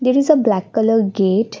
It is a black colour gate.